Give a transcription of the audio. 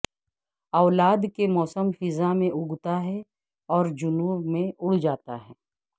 اولاد کے موسم خزاں میں اگتا ہے اور جنوب میں اڑ جاتا ہے